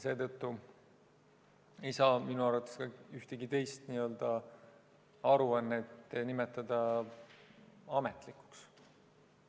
Seetõttu ei saa minu arvates ühtegi teist aruannet nimetada ametlikuks.